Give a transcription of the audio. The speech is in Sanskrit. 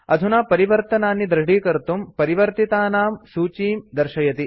अधुना परिवर्तनानि दृढीकर्तुं परिवर्तितानां सूचीं दर्शयति